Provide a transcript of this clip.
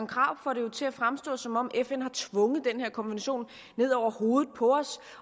krarup får det jo til at fremstå som om fn har tvunget den her konvention ned over hovedet på os